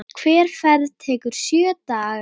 Hver ferð tekur sjö daga.